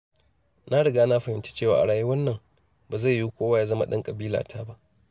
Na riga na fahimci cewa a rayuwar nan, ba zai yiwu kowa ya zama ɗan ƙabilata ba.